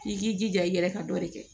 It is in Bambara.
I k'i jija i yɛrɛ ka dɔ de kɛ